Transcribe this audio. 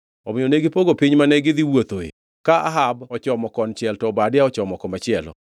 Omiyo negipogo piny mane gi dhi wuothoe, ka Ahab ochomo konchiel to Obadia ochomo komachielo.